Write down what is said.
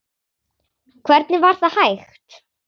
Hvernig var það hægt?